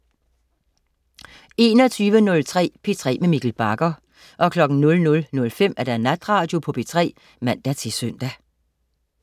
21.03 P3 med Mikkel Bagger 00.05 Natradio på P3 (man-søn)